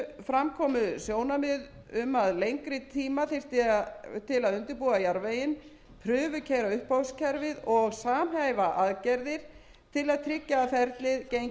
fram komu sjónarmið um að lengri tíma þyrfti til að undirbúa jarðveginn prufukeyra uppboðskerfið og samhæfa aðgerðir til að tryggja að ferlið gangi hnökralaust þegar farið verður af stað